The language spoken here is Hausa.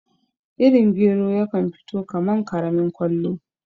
Irin gero yakan fito kaman karamin kwallo